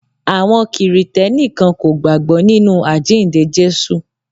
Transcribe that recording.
Àwọn kìrìtẹ́ní kan kò gbágbọ́ nínú àjíǹde Jésù.